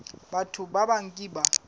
batho ba bang ke ba